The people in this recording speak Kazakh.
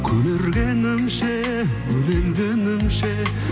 көнергенімше өле өлгенімше